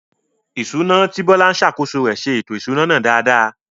Ìṣúná, tí Bola ń ṣàkóso rẹ̀, ṣe ètò ìṣúná náà dáadáa.